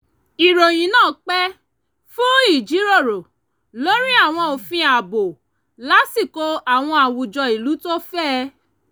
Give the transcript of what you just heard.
ìròyìn náà pè fún ìjíròrò lórí àwọn òfin ààbò lásìkò àwọn àwùjọ ìlú tó fẹ̀